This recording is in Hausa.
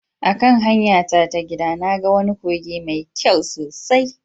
A kan hanyara ta gida, na ga wani kogi mai kyau sosai